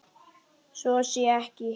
Svo sé ekki.